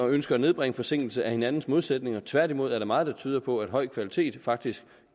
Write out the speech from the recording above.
ønske at nedbringe forsinkelse er hinandens modsætninger tværtimod er der meget der tyder på at høj kvalitet faktisk